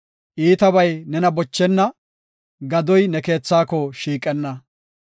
iitabay nena bochenna; gadoy ne keethaako shiiqenna.